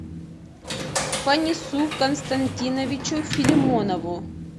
фанису константиновичу филимонову